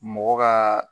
Mɔgɔ ka